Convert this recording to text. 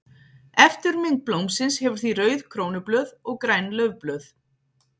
Eftirmynd blómsins hefur því rauð krónublöð og græn laufblöð.